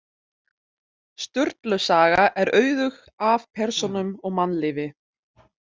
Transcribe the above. Sturlu saga er auðug af persónum og mannlífi.